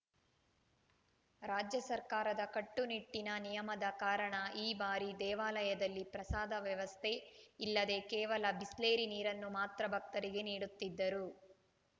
ರಾಜ್ಯ ಸರ್ಕಾರದ ಕಟ್ಟುನಿಟ್ಟಿನ ನಿಯಮದ ಕಾರಣ ಈ ಬಾರಿ ದೇವಾಲಯದಲ್ಲಿ ಪ್ರಸಾದ ವ್ಯವಸ್ಥೆ ಇಲ್ಲದೇ ಕೇವಲ ಬಿಸ್ಲೇರಿ ನೀರನ್ನು ಮಾತ್ರ ಭಕ್ತರಿಗೆ ನೀಡುತ್ತಿದ್ದರು